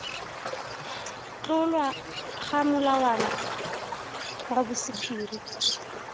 tlolwa ga molawana wa bosephiri